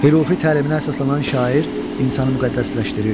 Hürufi təliminə əsaslanan şair insanı müqəddəsləşdirir.